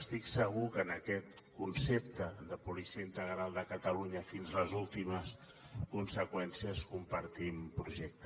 estic segur que en aquest concepte de policia integral de catalunya fins a les últimes conseqüències compartim projecte